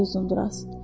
Dedi Uzunduraz.